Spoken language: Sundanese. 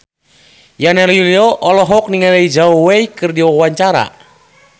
Yana Julio olohok ningali Zhao Wei keur diwawancara